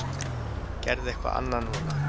Gerðu eitthvað annað núna.